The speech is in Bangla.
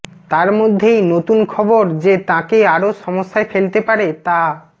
তার মধ্যেই নতুন খবর যে তাঁকে আরও সমস্যায় ফেলতে পারে তা